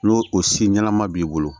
N'o o si ɲɛnama b'i bolo